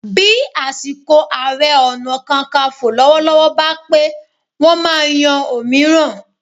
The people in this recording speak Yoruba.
Bí àsìkò Ààrẹ Ọ̀nà Kakaǹfò lọ́wọ́lọ́wọ́ bá pé, wọ́n máa yan òmíràn